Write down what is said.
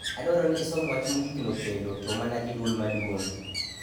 Adwaro ni isom wach mogikno kendo, to mana gi dwol maduong '.